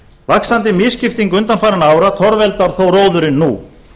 vaxandi misskipting undanfarinna ára torveldar þó róðurinn nú